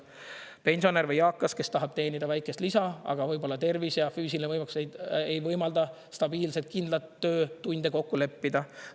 Pensionär või eakas, kes tahab teenida väikest lisa, aga võib-olla tervis ja füüsiline võimekus ei võimalda stabiilset, kindlat töötunde kokku leppida.